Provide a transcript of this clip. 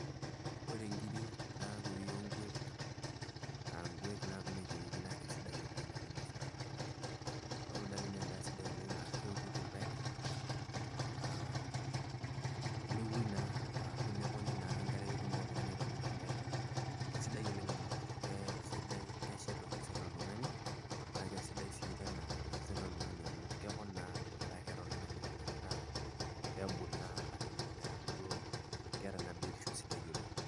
Ore nkiri nakuri onkwek aa nkwek naa ekienyejini naa kisidai oleng' teninoseki orgali. Ore orgali naa edaa sidia oleng' na keutiti irpaek nepuoi naa ashu neponi naa enkare petumoki oltung'ani aitobira orgali. Keisidai oleng' amu kesidai, keshet osesen oltung'ani na kisidai sii teina sesen loltunga'ni amu kepon naa meeta keeta oltung'ani ngufu pemula naa ashu peeku duo kaata naa biotisho sidai oleng'.